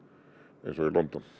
eins og í London